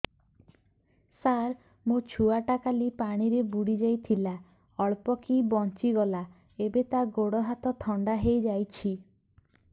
ସାର ମୋ ଛୁଆ ଟା କାଲି ପାଣି ରେ ବୁଡି ଯାଇଥିଲା ଅଳ୍ପ କି ବଞ୍ଚି ଗଲା ଏବେ ତା ଗୋଡ଼ ହାତ ଥଣ୍ଡା ହେଇଯାଉଛି